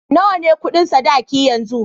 Nawa ne Ƙudin sadaki yanzu?